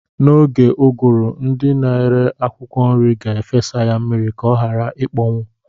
N'oge ụgụrụ, ndị na-ere akwụkwọ nri ga-efesa ya mmiri ka ọ ghara ịkpọnwụ.